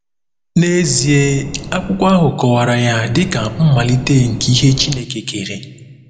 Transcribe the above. N’ezie, akwụkwọ ahụ kọwara ya dị ka “mmalite nke ihe Chineke kere.”